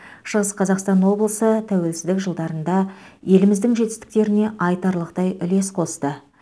шығыс қазақстан облысы тәуелсіздік жылдарында еліміздің жетістіктеріне айтарлықтай үлес қосты